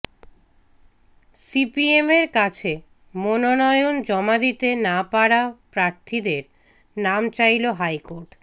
সিপিএমের কাছে মনোনয়ন জমা দিতে না পারা প্রার্থীদের নাম চাইল হাইকোর্ট